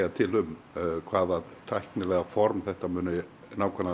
til um hvaða tæknilega form þetta muni